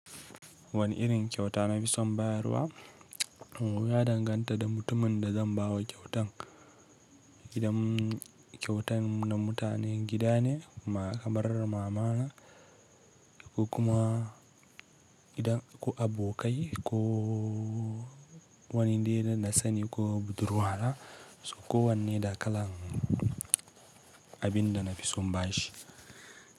Wani irin kyauta na fi son bayarwa, ya danganta da mutumin da zan ba wa kyautar. Idan kyautan na mutane gida ne, ma kamar mamana ko kuma gidan ko abokai ko wani dai na sani ko budurwa na so ko wanne da kalan abin da na fi son bashi.